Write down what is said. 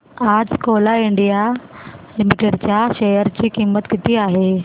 आज कोल इंडिया लिमिटेड च्या शेअर ची किंमत किती आहे